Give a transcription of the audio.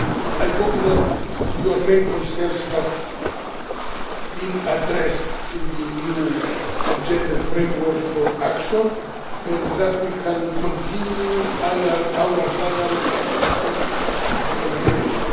I hope that your main concerns have been addressed in the new gender framework for action and that we can continue our dialogue on its implementation.